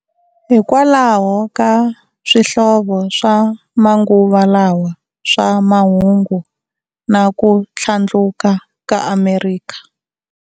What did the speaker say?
Hikwalaho ka swihlovo swa manguva lawa swa mahungu na kuthlandluka ka Amerikha.